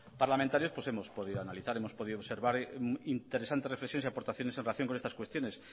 parlamentarios pues hemos podido analizar hemos podido observar interesantes reflexiones y aportaciones en relación con estas cuestiones